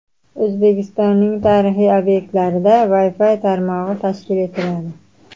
O‘zbekistonning tarixiy obyektlarida Wi-Fi tarmog‘i tashkil etiladi.